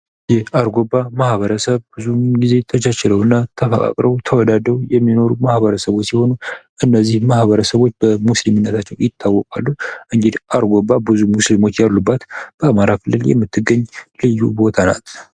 ማህበረሰብ የጋራ እሴቶችና ግቦች ያላቸው የሰዎች ስብስብ ሲሆን ቤተሰብ ደግሞ የቅርብ ዝምድና ያላቸውና አብረው የሚኖሩ ሰዎች ናቸው